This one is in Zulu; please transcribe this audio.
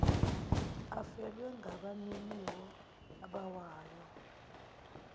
afelwe ngabaniniwo abawabayo